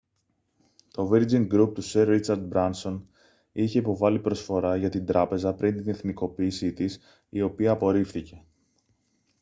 το virgin group του σερ ρίτσαρντ μπράνσον είχε υποβάλει προσφορά για την τράπεζα πριν την εθνικοποίηση της η οποία απορρίφθηκε